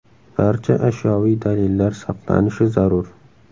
Barcha ashyoviy dalillar saqlanishi zarur.